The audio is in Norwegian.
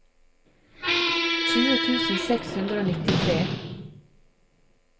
tjue tusen seks hundre og nittitre